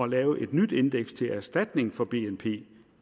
lave et nyt indeks til erstatning for bnp